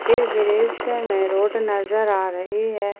इस दृश्य में रोड नजर आ रही है।